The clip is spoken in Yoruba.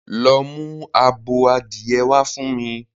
Go and get me a fowl!